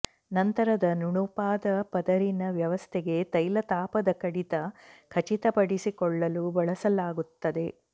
ನಂತರದ ನುಣುಪಾದ ಪದರಿನ ವ್ಯವಸ್ಥೆಗೆ ತೈಲ ತಾಪದ ಕಡಿತ ಖಚಿತಪಡಿಸಿಕೊಳ್ಳಲು ಬಳಸಲಾಗುತ್ತದೆ